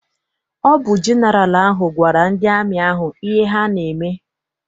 Ọ bụ jeneral ahụ gwara ndị amị ahụ ihe ha n'eme.